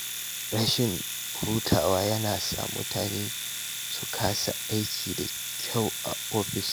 Rashin hutawa yana sa mutane su kasa aiki da kyau a ofis.